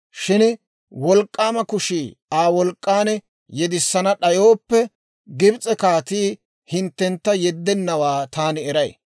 Shin Wolk'k'aama kushii, Aa, wolk'k'an yedissana d'ayooppe, Gibs'e kaatii hinttentta yeddennawaa taani eray.